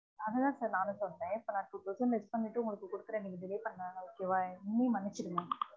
அது தான் sir நானும் சொல்றேன் இப்ப நா two thousand less பன்ணிட்டு உங்களுகு குடுத்துறேன் நீங்க delay பன்னனால okay வா என்னையும் மன்னிச்சுடுங்க